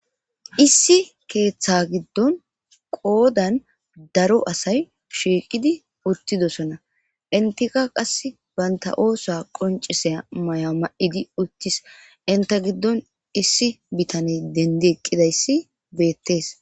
issi keeththa giddon qoddan darro asay shiiqidi uttidossona entikka qas bantta oosa qoncissiya may'a ma'idi uttis entta giiddon issi bitane dendi eqqidayssi bettees